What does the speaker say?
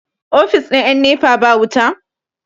ofis ɗin 'yan nepa ba wuta?